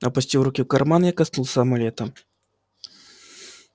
опустив руку в карман я коснулся амулета